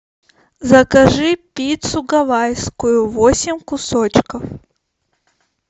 закажи пиццу гавайскую восемь кусочков